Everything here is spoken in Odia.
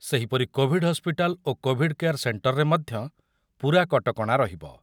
ସେହିପରି କୋଭିଡ଼ ହସ୍ପିଟାଲ ଓ କୋଭିଡଜ କେୟାର୍ ସେଣ୍ଟରରେ ମଧ୍ୟ ପୂରା କଟକଣା ରହିବ।